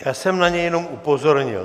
Já jsem na něj jenom upozornil.